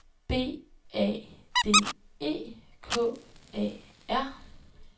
B A D E K A R